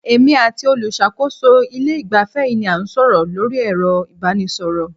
Èmi àti olùṣàkóso ilé ìgbafẹ́ yìí ni a ń sọ̀rọ̀ lórí ẹ̀rọ ìbánisọ̀rọ̀.